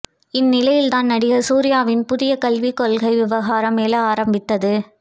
இந்நிலையில்தான் நடிகர் சூர்யாவின் புதிய கல்வி கொள்கை விவகாரம் எழ ஆரம்பித்தது